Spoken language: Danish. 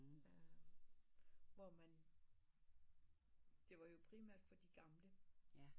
Øh hvor man det var jo primært for de gamle